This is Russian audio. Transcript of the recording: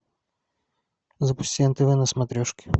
запусти нтв на смотрешке